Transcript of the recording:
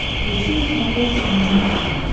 включи на смотрешке нано тв